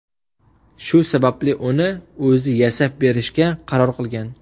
Shu sababli uni o‘zi yasab berishga qaror qilgan.